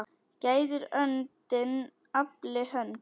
Gæðir öndin afli hönd.